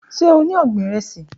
Ṣe o ni ọgbin iresi?